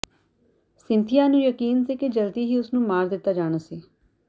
Cynthia ਨੂੰ ਯਕੀਨ ਸੀ ਕਿ ਜਲਦੀ ਹੀ ਉਸ ਨੂੰ ਮਾਰ ਦਿੱਤਾ ਜਾਣਾ ਸੀ